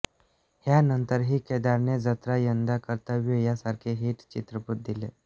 ह्यानंतरही केदारने जत्रा यंदा कर्तव्य आहे यासारखे हिट चित्रपट दिले